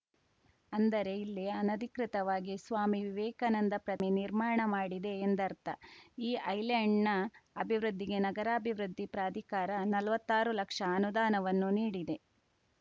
ಅಂದರೆ ಇಲ್ಲಿ ಅನಧಿಕೃತವಾಗಿ ಸ್ವಾಮಿ ವಿವೇಕಾನಂದ ಪ್ರತಿಮೆ ನಿರ್ಮಾಣ ಮಾಡಿದೆ ಎಂದರ್ಥ ಈ ಐಲ್ಯಾಂಡ್‌ನ ಅಭಿವೃದ್ಧಿಗೆ ನಗರಾಭಿವೃದ್ಧಿ ಪ್ರಾಧಿಕಾರ ನಲ್ವತ್ತಾರು ಲಕ್ಷ ಅನುದಾನವನ್ನು ನೀಡಿದೆ